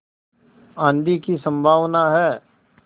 आँधी की संभावना है